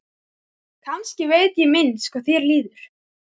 Kannski veit ég minnst hvað þér líður.